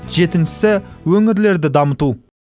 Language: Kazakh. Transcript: жетіншісі өңірлерді дамыту